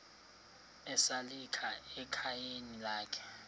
esalika ekhayeni lakhe